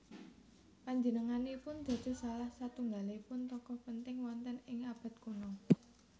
Panjenenganipun dados salah satunggalipun tokoh penting wonten ing abad kuno